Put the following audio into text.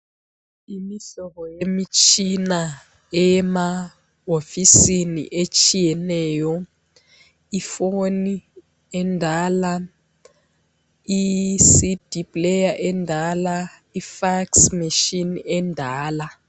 Imihlobo yemitshina emawofisini etshiyeneyo. Ifoni endala, iCD player endala, iFax machine endala.